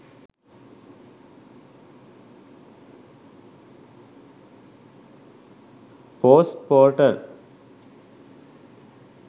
post portal